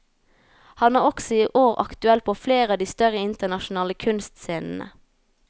Han er også i år aktuell på flere av de større internasjonale kunstscenene.